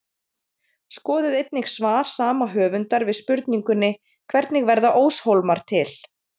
Skoðið einnig svar sama höfundar við spurningunni Hvernig verða óshólmar til?